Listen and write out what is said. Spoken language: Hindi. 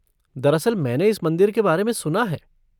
दरअसल मैंने इस मंदिर के बारे में सुना है।